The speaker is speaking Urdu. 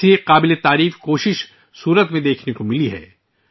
ایسی ہی ایک قابل ستائش کوشش سورت میں دیکھنے میں آئی ہے